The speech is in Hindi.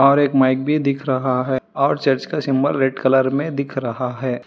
और एक माइक भी दिख रहा है और चर्च का सिंबल रेड कलर में दिख रहा है।